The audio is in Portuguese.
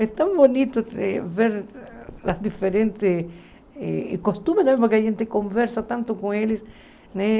É tão bonito ver ver as diferentes... Costumes mesmo que a gente conversa tanto com eles, né?